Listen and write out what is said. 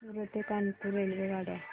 सूरत ते कानपुर रेल्वेगाड्या